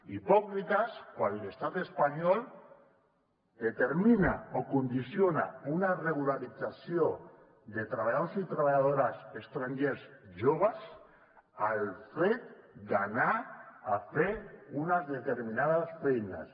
hipòcrites quan l’estat espanyol determina o condiciona una regularització de treballadors i treballadores estrangers joves al fet d’anar a fer unes determinades feines